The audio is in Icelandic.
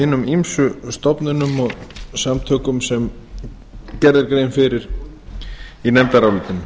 hinum ýmsu stofnunum og samtökum sem gerð er grein fyrir í nefndarálitinu